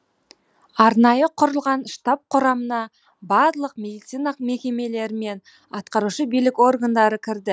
арнайы құрылған штаб құрамына барлық медицина мекемелері мен атқарушы билік органдары кірді